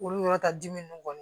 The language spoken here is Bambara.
Olu yɔrɔ ta dimi ninnu kɔni